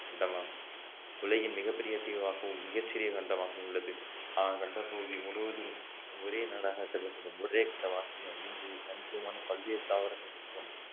கண்டமாகும் உலகின் மிகப் பெரிய தீவாகவும் மிகச்சிறிய கண்டமாகவும் உள்ளது ஆஹ் கண்ட பகுதி முழுவதும் ஒரே நாடாக கருதப்படும் ஒரே இங்கு தனித்துவமான பல்வேறு தாவரங்கள் மற்றும்